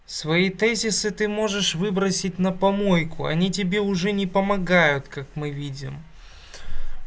свои тезисы ты можешь выбросить на помойку они тебе уже не помогают как мы видим